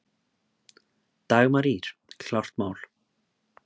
Dagmar Ýr, klárt mál!